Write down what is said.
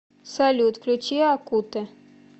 салют включи акутэ